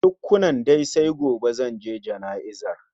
Tukkunan dai, sai gobe zanje jana'izar